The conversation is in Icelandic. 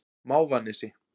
Mávanesi